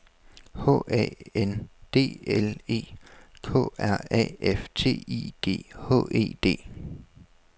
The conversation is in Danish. H A N D L E K R A F T I G H E D